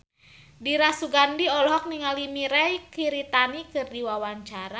Dira Sugandi olohok ningali Mirei Kiritani keur diwawancara